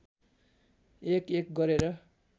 एकएक गरेर